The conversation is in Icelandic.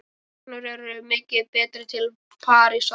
Samgöngur eru miklu betri til Parísar.